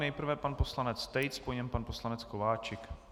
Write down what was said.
Nejprve pan poslanec Tejc, po něm pan poslanec Kováčik.